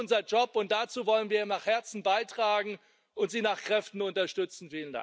Das ist unser Job, und dazu wollen wir von Herzen beitragen und Sie nach Kräften unterstützen.